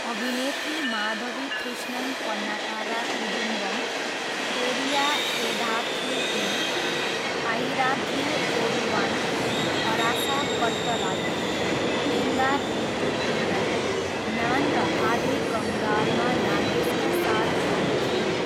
अभिनेत्री माधवी कृष्णन पन्नाकारा कुदुम्बम, पेरिया एदाथु पेन, आयिराथिल ओरुवान, अरासा कट्टलाई, एङ्गा भिट्टू पिल्लई, नान र आधे कङ्गालमा नागेसका साथ जोडी थिइन्।